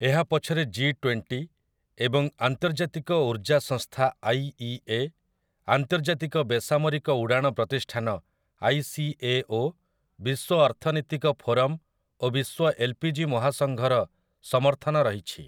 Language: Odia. ଏହା ପଛରେ ଜି ଟ୍ୱେଣ୍ଟି ଏବଂ ଆନ୍ତର୍ଜାତିକ ଊର୍ଜା ସଂସ୍ଥା ଆଇଇଏ, ଆନ୍ତର୍ଜାତିକ ବେସାମରିକ ଉଡ଼ାଣ ପ୍ରତିଷ୍ଠାନ ଆଇସିଏଓ, ବିଶ୍ୱ ଅର୍ଥନୀତିକ ଫୋରମ୍ ଓ ବିଶ୍ୱ ଏଲ୍‌ପିଜି ମହାସଂଘର ସମର୍ଥନ ରହିଛି ।